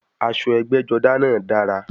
Aṣọ ẹgbẹ́-jọdá náà dára.